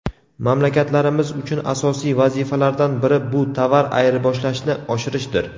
Mamlakatlarimiz uchun asosiy vazifalardan biri bu tovar ayirboshlashni oshirishdir.